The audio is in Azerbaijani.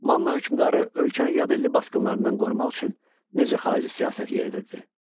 Manna hökmdarı ölkənin yadelli basqınlarından qorumaq üçün necə xarici siyasət yeridirdi?